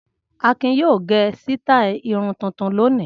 Akin yóò gẹ sítáálì irun tuntun lónìí.